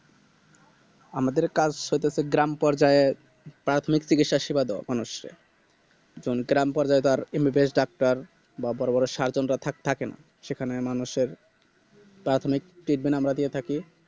আমাদের কাজ সেটাতো গ্রামপর্যায়ে প্রাথমিক চিকিৎসা সেবা দেওয়া মানুষকে যখন গ্রামপর্যায় তার MBBS ডাক্তার বা বড়ো বড়ো Surgeon থাকে~ থাকেনা সেখানে মানুষের প্রাথমিক Treatment আমরা দিয়ে থাকি